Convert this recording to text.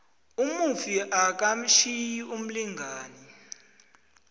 umufi akatjhiyi umlingani